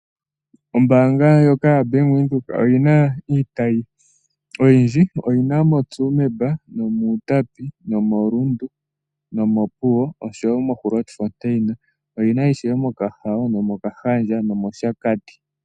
Ombaanga ndjoka yaBank Windhoek oyi na iitayi oyindji. Oyi na moTsumeb, mUutapi, moRundu, Opuwo, Grootfontein, Okahao, Okahandja nOshakati.